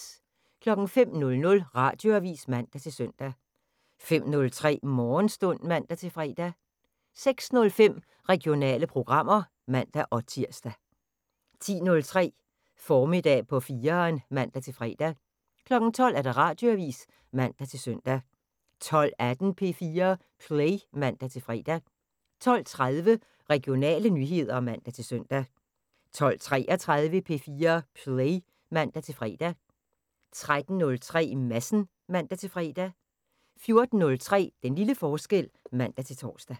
05:00: Radioavisen (man-søn) 05:03: Morgenstund (man-fre) 06:05: Regionale programmer (man-tir) 10:03: Formiddag på 4'eren (man-fre) 12:00: Radioavisen (man-søn) 12:18: P4 Play (man-fre) 12:30: Regionale nyheder (man-søn) 12:33: P4 Play (man-fre) 13:03: Madsen (man-fre) 14:03: Den lille forskel (man-tor)